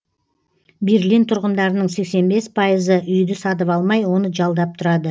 берлин тұрғындарының сексен бес пайызы үйді сатып алмай оны жалдап тұрады